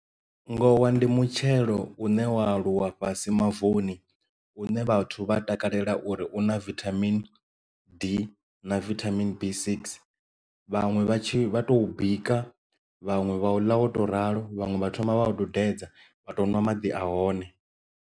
Ngowa ndi mutshelo une wa aluwa fhasi mavuni une vhathu vha takalela uri una vithamini d na vithamini b six vhaṅwe vha tshi vha to bika vhaṅwe vha u ḽa wo tou ralo vhaṅwe vha thoma vha tou dudedze vha to nwa maḓi a hone.